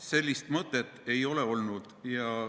Sellist mõtet ei ole olnud.